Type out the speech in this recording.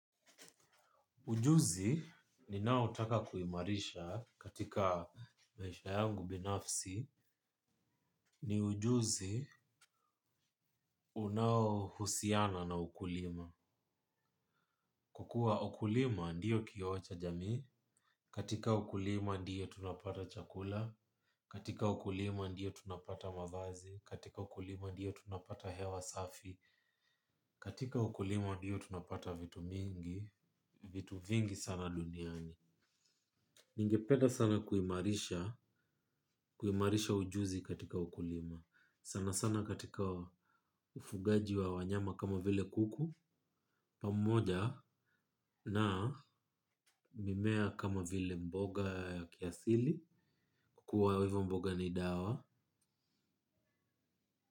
Ujuzi ninao taka kuimarisha katika maisha yangu binafsi ni ujuzi unao husiana na ukulima. Kwa kuwa ukulima ndio kioo cha jamii, katika ukulima ndio tunapata chakula, katika ukulima ndio tunapata mavazi, katika ukulima ndio tunapata hewa safi, katika ukulima ndio tunapata vitu mingi, vitu vingi sana duniani. Ningepeda sana kuimarisha ujuzi katika ukulima sanasana katika ufugaji wa wanyama kama vile kuku. Pamoja na mimea kama vile mboga ya kiasili. Kwa kuwa hivo mboga ni dawa.